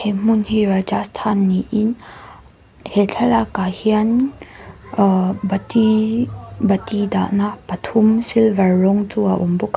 he hmun hi rajasthan niin he thlalak ah hian ahh bati bati dahna pathum silver rawng chu a awm.